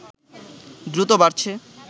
দ্রুত বাড়ছে